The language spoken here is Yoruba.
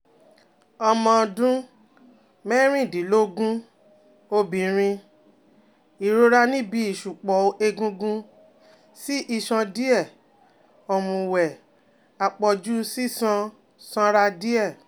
Ọmọ ọdún mẹ́rìndínlógún, obìnrin, ìrora níbi ìṣùpọ̀ egungun sí iṣan díẹ̀, òmùwẹ̀, àpọ̀jù sísan sanra díẹ̀